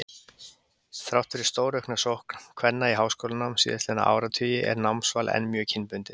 Þrátt fyrir stóraukna sókn kvenna í háskólanám síðastliðna áratugi er námsval enn mjög kynbundið.